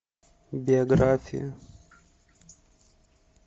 биография